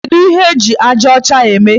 Kedu ihe eji aja ọcha eme?